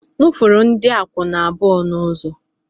M furu ndị akwụna abụọ n'ụzọ